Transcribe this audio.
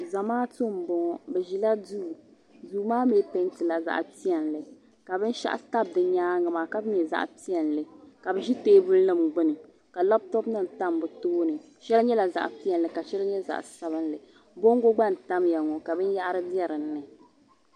Zamaatu m boŋɔ bɛ ʒila duu maa mee pentila zaɣa piɛli ka binshaɣu tabi di nyaanga maa ka nyɛ zaɣa piɛlli ka bɛ ʒi teebuli nima gbini ka laaputopu nima tam bɛ tooni sheli nyɛla zaɣa piɛlli ka sheli nyɛ zaɣa sabinli bongo gna n tamya ŋɔ ka binyahari biɛ dinni.